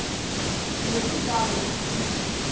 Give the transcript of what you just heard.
sinemdlalo yekubhukusha